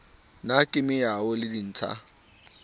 na ke meaoho le ditsha